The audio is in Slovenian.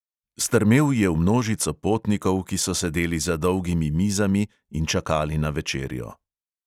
Strmel je v množico potnikov, ki so sedeli za dolgimi mizami in čakali na večerjo.